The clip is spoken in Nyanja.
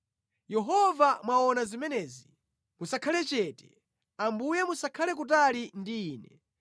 Yehova mwaona zimenezi; musakhale chete. Ambuye musakhale kutali ndi ine.